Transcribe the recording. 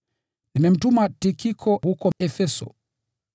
Nimemtuma Tikiko huko Efeso.